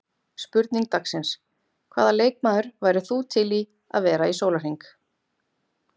Spurning dagsins: Hvaða leikmaður værir þú til í að vera í sólarhring?